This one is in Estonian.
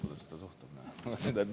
Kuidas ta suhtub?